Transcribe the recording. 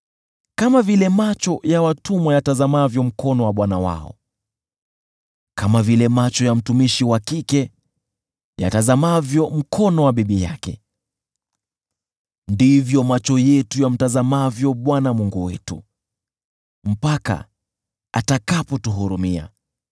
Kama vile macho ya watumwa yatazamavyo mkono wa bwana wao, kama vile macho ya mtumishi wa kike yatazamavyo mkono wa bibi yake, ndivyo macho yetu yamtazamavyo Bwana Mungu wetu, mpaka atakapotuhurumia.